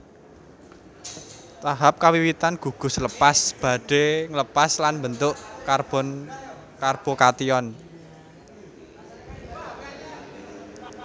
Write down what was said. Tahap kawiwitan gugus lepas badhe ngelepas lan mbentuk karbokation